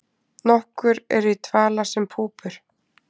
nokkur eru í dvala sem púpur